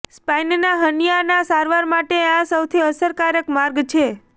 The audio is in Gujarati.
સ્પાઇનના હર્નીયાના સારવાર માટે આ સૌથી અસરકારક માર્ગ છે